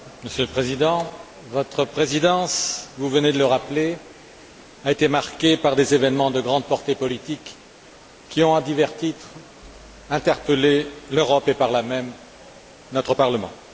Monsieur le Président, votre présidence vous venez de le rappeler a été marquée par des événements d'une grande portée politique, qui ont, à divers titres, interpellé l'Europe et par là même notre Parlement.